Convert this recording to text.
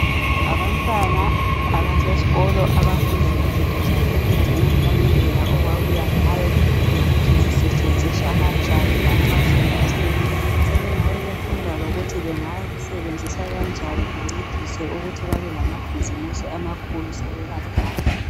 Abantwana abasesikolo abafunda ngezinto zabelungu langendlela okwabuya ngayo lokuthi zisetshenziswa kanjani lanxa sokutheni sebengabe befunda lokuthi benga kusetshenziswa kanjani kuncediswe lokuthi bebe lamabhuzimusi amakhulu sebebadala.